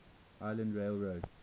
island rail road